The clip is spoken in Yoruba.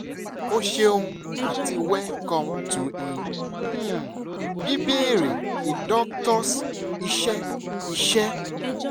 o ṣeun ati welcome to a um "bíbéèrè a doctor's" iṣẹ iṣẹ